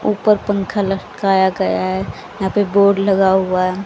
ऊपर पंखा लटकाया गया है यहां पे बोर्ड लगा हुआ--